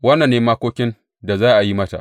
Wannan ne makokin da za a yi mata.